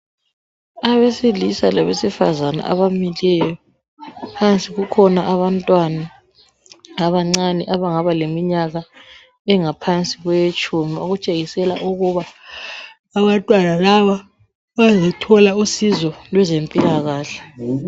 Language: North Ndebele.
Abesilisa labesifazane abamileyo , phansi kukhona abantwana abancane abangaba leminyaka engaphansi kwetshumi, okutshengisela ukuba abantwana laba bazethola usizo lwezempilakahle.